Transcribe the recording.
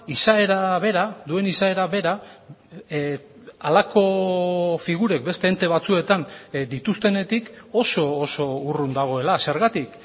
izaera bera duen izaera bera halako figurek beste ente batzuetan dituztenetik oso oso urrun dagoela zergatik